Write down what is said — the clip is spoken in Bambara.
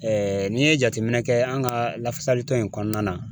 n'i ye jateminɛ kɛ an ka lafasali tɔn in kɔnɔna na